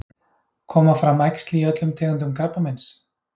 Koma fram æxli í öllum tegundum krabbameins?